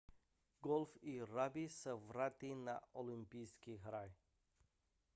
golf i ragby se vrátí na olympijské hry